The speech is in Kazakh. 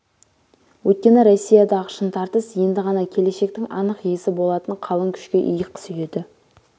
өйткені россиядағы шын тартыс енді ғана келешектің анық иесі болатын қалың күшке иық сүйеді